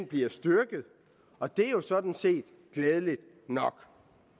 bliver styrket og det er jo sådan set glædeligt nok